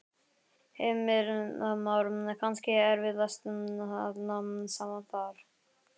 Heimir Már: Kannski erfiðast að ná saman þar?